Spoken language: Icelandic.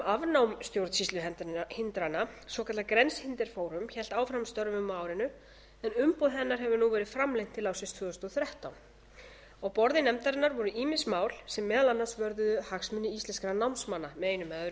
afnám stjórnsýsluhindrana svokallað grænsehindringsforum hélt áfram störfum á árinu en umboð hennar hefur nú verið framlengt til ársins tvö þúsund og þrettán á borði nefndarinnar voru ýmis mál sem meðal annars vörðuðu hagsmuni íslenskra námsmanna með einum eða öðrum